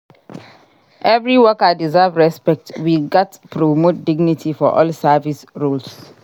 Every worker deserve respect; we gats promote dignity for all service roles.